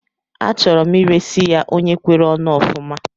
Achọrọ m iresi ya onye kwere onu ofuma